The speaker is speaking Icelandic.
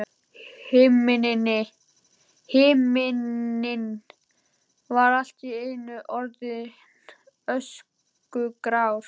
Himinninn var allt í einu orðinn öskugrár.